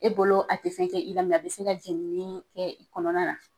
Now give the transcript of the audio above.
E bolo a te fɛn kɛ i, a be se ka jenini kɛ i kɔnɔna na.